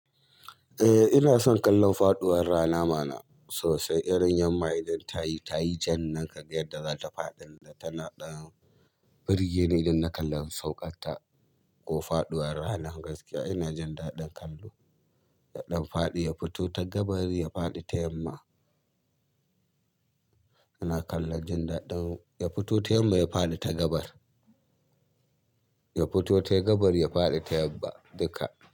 Eh ina son kallon faɗuwar rana mana sosai, irin yamma idan tayi, tayi jan nan kaga yadda zata faɗi da tana ɗan birgi ne idan na kalla sauƙar ta ko faɗuwar rana. Gaskiya ina jin daɗin kallo, daɗin faɗi ya fito ta gabar ya faɗi ta yamma. Ina kallon jin daɗin ya fito ta yamma ya faɗi ta gaba, ya fito ta gabar ya faɗi ta yamma duka.